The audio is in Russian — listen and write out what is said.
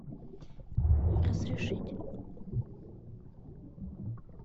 разрешить